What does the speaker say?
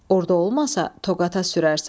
Orda olmasa, Toqata sürərsən.